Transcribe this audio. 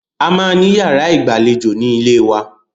A máa ní yàrá ìgbàlejò ní ilẹ̀ wa.